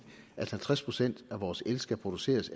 at halvtreds procent af vores el skal produceres